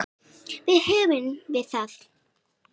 Þá höfum við það.